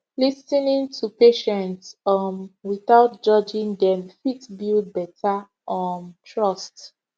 lis ten ing to patient um without judging dem fit build better um trust